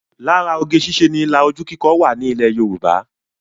Lára oge ṣíṣe ni ilà ojú kíkọ wà ní ilẹ̀ Yorùbá